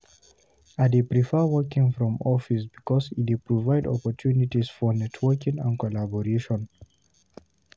I dey prefer working from office because e dey provide opportunities for networking and collaboration.